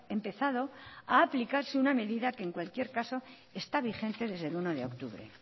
empezado a aplicarse una medida que en cualquier caso está vigente desde el uno de octubre